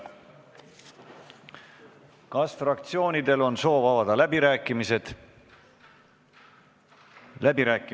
Kas fraktsioonidel on soov avada läbirääkimised?